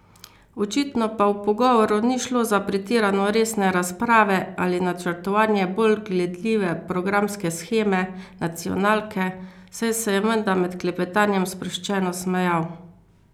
Očitno pa v pogovoru ni šlo za pretirano resne razprave ali načrtovanje bolj gledljive programske sheme nacionalke, saj se je menda med klepetanjem sproščeno smejal.